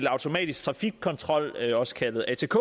automatisk trafikkontrol også kaldet atk